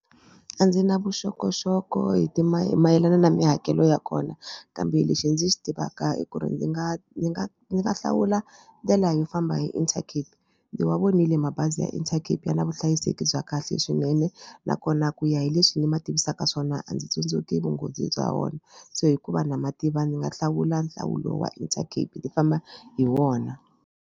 A ndzi na vuxokoxoko hi ti ma mayelana na mihakelo ya kona kambe lexi ndzi xi tivaka i ku ri ndzi nga ndzi nga ndzi nga hlawula ndlela yo famba hi Intercape. Ndzi wa vonile mabazi ya Intercape ya na vuhlayiseki bya kahle swinene nakona ku ya hi leswi ni ma tivisaka swona a ndzi tsundzuki vunghozi bya wona se hikuva na ma tiva ndzi nga hlawula nhlawulo wa Intercape ni famba hi wona.